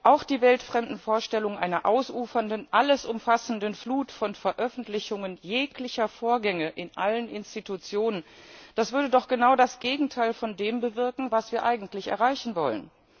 Auch die weltfremden Vorstellungen einer ausufernden, alles umfassenden Flut von Veröffentlichungen jeglicher Vorgänge in allen Institutionen das würde doch genau das Gegenteil von dem bewirken, was wir eigentlich erreichen wollen.